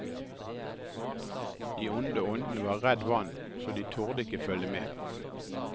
De onde åndene var redd vann så de turde ikke følge med.